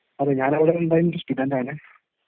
അതേ ഞാനവിടെ ഉണ്ടായിരുന്ന ഒരു സ്റ്റുഡന്‍റ് ആണ്